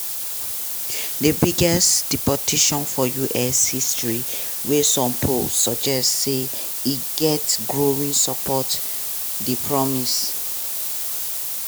di biggest deportation for us history wey some polls suggest say e get growing support dey promised.